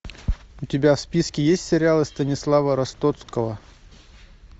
у тебя в списке есть сериалы станислава ростоцкого